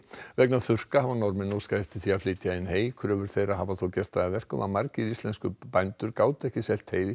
vegna þurrka hafa Norðmenn óskað eftir að flytja inn hey kröfur þeirra hafa þó gert það að verkum að margir íslenskir bændur gátu ekki selt hey